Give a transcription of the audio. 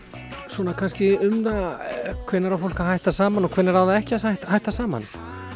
svona kannski um það hvenær á fólk að hætta saman og hvenær á það ekki að hætta saman